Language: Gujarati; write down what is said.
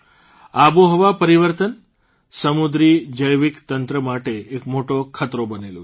આબોહવા પરિવર્તન સમુદ્રી જૈવિકતંત્ર માટે એક મોટો ખતરો બનેલું છે